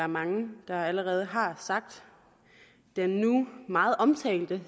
mange allerede har sagt af den nu meget omtalte